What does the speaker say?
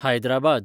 Hyderabad